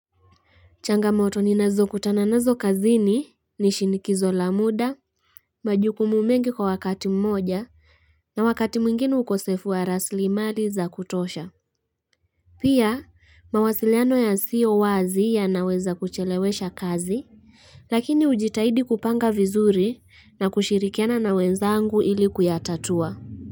Changamoto ninazo kutana nazo kazini ni shinikizo la muda, majukumu mengi kwa wakati mmoja na wakati mwingine ukosefu wa raslimali za kutosha. Pia mawasiliano ya siyo wazi ya naweza kuchelewesha kazi lakini hujitahidi kupanga vizuri na kushirikiana na wenzangu ili kuyatatua.